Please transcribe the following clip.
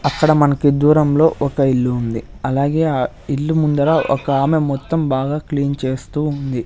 అక్కడ మనకు దూరంలో ఒక ఇల్లు ఉంది అలాగే ఆ ఇల్లు ముందర ఒక ఆమె మొత్తం బాగా క్లీన్ చేస్తూ ఉంది--